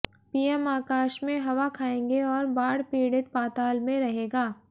PM आकाश में हवा खाएंगे और बाढ़ पीड़ित पाताल में रहेगा